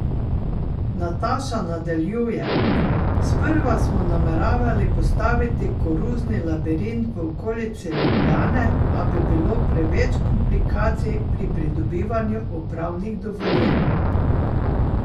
Nataša nadaljuje: "Sprva smo nameravali postaviti koruzni labirint v okolici Ljubljane, a bi bilo preveč komplikacij pri pridobivanju upravnih dovoljenj.